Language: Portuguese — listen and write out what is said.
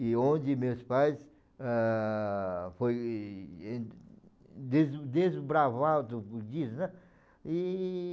E onde meus pais, ah, foi eh des desbravar do budista, né? E...